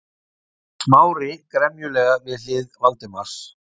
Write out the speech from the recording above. Smári gremjulega við hlið Valdimars.